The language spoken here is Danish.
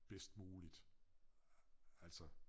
Bedst muligt altså